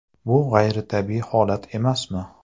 Bu g‘ayritabiiy holat emasmi?..